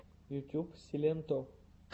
ютуб силенто